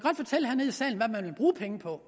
bruge penge på